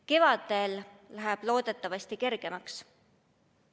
Kevadel läheb loodetavasti kergemaks.